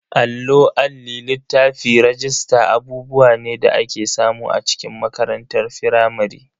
Allo, Alli, littafi, rajista abubuwa ne da ake samu a cikin makarantar firamare.